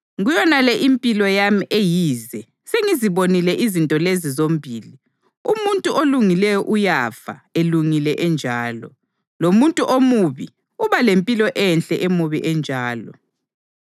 Kuyonale impilo yami eyize sengizibonile izinto lezi zombili: umuntu olungileyo uyafa elungile enjalo, lomuntu omubi uba lempilo enhle emubi enjalo.